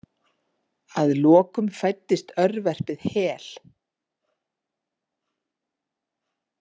Að lokum fæddist örverpið Hel.